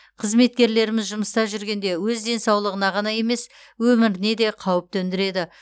қызметкерлеріміз жұмыста жүргенде өз денсаулығына ғана емес өміріне де қауіп төндіреді